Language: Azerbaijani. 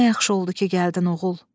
Nə yaxşı oldu ki, gəldin, oğul!